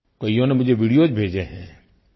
कइयों ने मुझे वीडियोस भेजे हैं